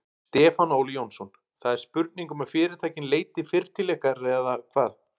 Stefán Óli Jónsson: Það er spurning um að fyrirtækin leiti fyrr til ykkar eða hvað?